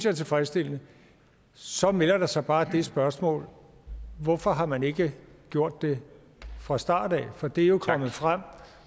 er tilfredsstillende så melder der sig bare det spørgsmål hvorfor har man ikke gjort det fra starten af for det er jo kommet frem